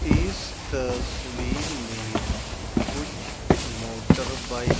इस तस्वीर में कुछ मोटर बाइक --